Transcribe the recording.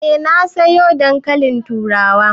Eh na sayo dankalin turawan.